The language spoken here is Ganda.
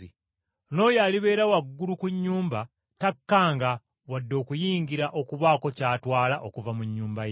N’oyo alibeera waggulu ku nnyumba takkanga wadde okuyingira okubaako ky’atwala okuva mu nnyumba ye.